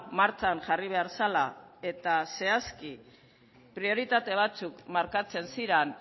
martxan jarri behar zela eta zehazki prioritate batzuk markatzen ziran